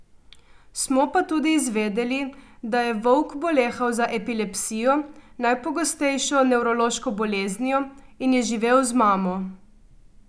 Smo pa tudi izvedeli, da je Vovk bolehal za epilepsijo, najpogostnejšo nevrološko boleznijo, in je živel z mamo.